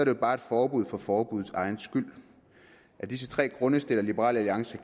jo bare et forbud for forbuddets egen skyld af disse tre grunde stiller liberal alliance